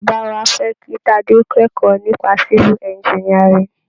Bàbá wa fẹ́ kí Tadé kẹ́kọ̀ọ́ nípa Civil Engineering.